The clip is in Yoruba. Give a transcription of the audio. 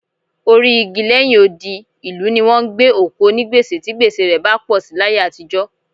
Orí igi lẹ́yìn odi ìlú ni wọ́n ń gbé òkú onígbèsè tí gbèsè rẹ bá pọ̀ sí láyé àtijọ́